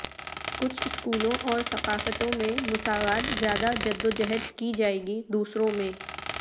کچھ اسکولوں اور ثقافتوں میں مساوات زیادہ جدوجہد کی جائے گی دوسروں میں